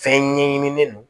Fɛn ɲɛɲinilen no